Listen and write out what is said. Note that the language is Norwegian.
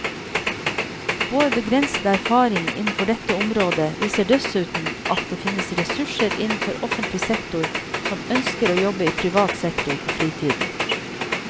Vår begrensede erfaring innenfor dette området viser dessuten at det finnes ressurser innenfor offentlig sektor som ønsker å jobbe i privat sektor på fritiden.